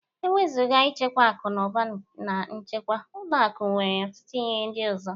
Ewezuga ịchekwa akụ na ụba na nchekwa, ụlọ akụ nwere ọtụtụ ihe ndị ọzọ